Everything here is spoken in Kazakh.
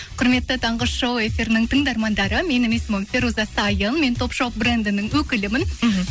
құрметті таңғы шоу эфирінің тыңдармандары менің есімім фируза сайын мен топ шоп брендінің өкілімін іхі